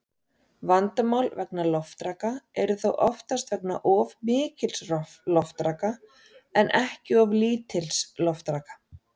Vandamál vegna loftraka eru þó oftast vegna of mikils loftraka en ekki of lítils loftraka.